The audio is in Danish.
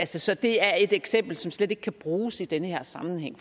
så så det er et eksempel som slet ikke kan bruges i den her sammenhæng